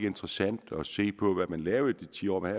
interessant at se på hvad man lavede i de ti år man